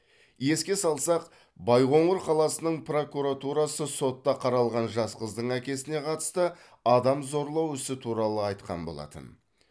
еске салсақ байқоңыр қаласының прокуратурасы сотта қаралған жас қыздың әкесіне қатысты адам зорлау ісі туралы айтқан болатын